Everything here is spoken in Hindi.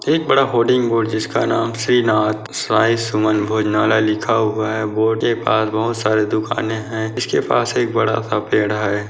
एक बड़ा होडिंग बोर्ड जिसका नाम श्री नाथ साईं सुमन भोजनालय लिखा हुआ है बोर्ड के पास बहोत सारे दूकाने है इसके पास एक बड़ा-सा पेड़ है।